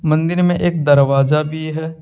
मंदिर में एक दरवाजा भी है।